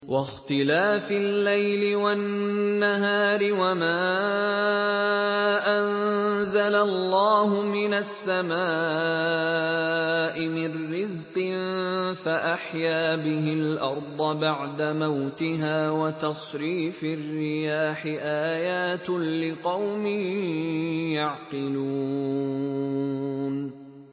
وَاخْتِلَافِ اللَّيْلِ وَالنَّهَارِ وَمَا أَنزَلَ اللَّهُ مِنَ السَّمَاءِ مِن رِّزْقٍ فَأَحْيَا بِهِ الْأَرْضَ بَعْدَ مَوْتِهَا وَتَصْرِيفِ الرِّيَاحِ آيَاتٌ لِّقَوْمٍ يَعْقِلُونَ